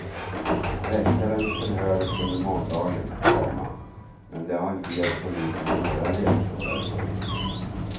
Väktaren förhördes under måndagen, komma men det har inte gett polisen några ledtrådar. punkt